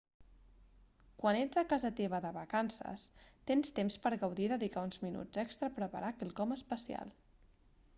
quan ets a casa teva de vacances tens temps per gaudir i dedicar uns minuts extra a preparar quelcom especial